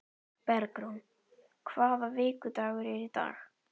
Bergrún, hvaða vikudagur er í dag?